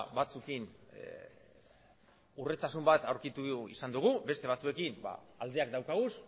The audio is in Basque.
batzuekin hurbiltasun bat aurkitu izan dugu beste batzuekin aldeak dauzkagu